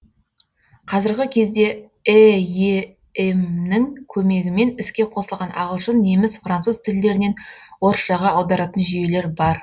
қазіргі кезде эем нің көмегімен іске қосылған ағылшын неміс француз тілдерінен орысшаға аударатын жүйелер бар